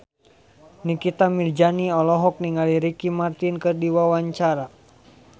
Nikita Mirzani olohok ningali Ricky Martin keur diwawancara